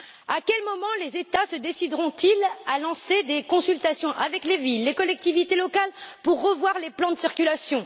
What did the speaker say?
À quel moment les États se décideront ils à lancer des consultations avec les villes et les collectivités locales pour revoir les plans de circulation?